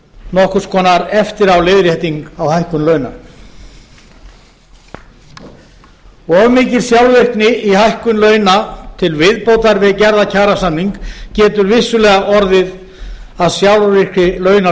nokkurs konar eftiráleiðrétting á hækkun launa of mikil sjálfvirkni í hækkun launa til viðbótar við gerðan kjarasamning getur vissulega orðið að sjálfvirkri launaskrúfu dag